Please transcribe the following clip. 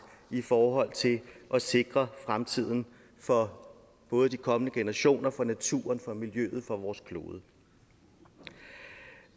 i forhold til at sikre fremtiden for både de kommende generationer for naturen for miljøet og for vores klode